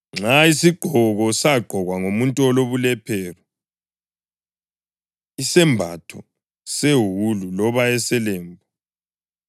“Nxa isigqoko sagqokwa ngumuntu olobulephero, isembatho sewulu loba eselembu,